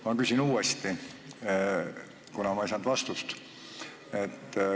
Ma küsin uuesti, kuna ma ei saanud vastust.